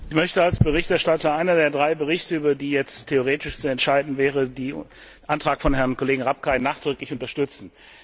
Herr Präsident! Ich möchte als Berichterstatter eines der drei Berichte, über die jetzt theoretisch zu entscheiden wäre, den Antrag von Herrn Kollegen Rapkay nachträglich unterstützen.